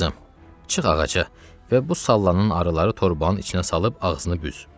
Qızım, çıx ağaca və bu sallanan arıları torbanın içinə salıb ağzını büz.